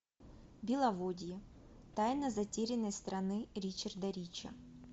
беловодье тайна затерянной страны ричарда рича